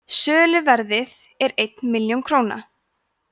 söluverðið er einn milljón króna